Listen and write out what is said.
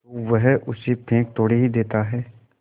तो वह उसे फेंक थोड़े ही देता है